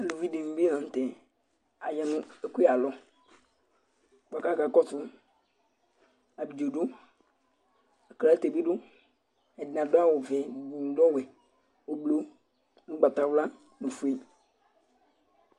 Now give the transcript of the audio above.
uluvi dini bi la nu tɛ, aya nu ɛkuyɛ ayalɔ , ku aka kɔsu , abidzo du, aklate bi du, ɛdini adu awu vɛ, nu lɔwɛ , ublu, ugbata wla nu ofue